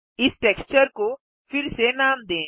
इस टेक्सचर को फिर से नाम दें